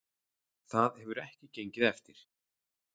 Það hefur ekki gengið eftir